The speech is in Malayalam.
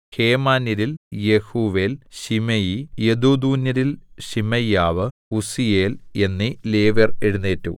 ഹേമാന്യരിൽ യെഹൂവേൽ ശിമെയി യെദൂഥൂന്യരിൽ ശിമയ്യാവ് ഉസ്സീയേൽ എന്നീ ലേവ്യർ എഴുന്നേറ്റു